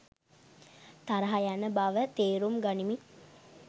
තරහ යන බව තේරුම් ගනිමින්